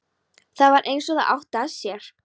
Það var eins og það átti að sér.